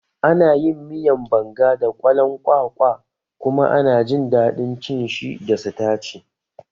Ana yin miyan Banga da kwalon kwakwa kuma ana jin daɗin cin shi da sitaci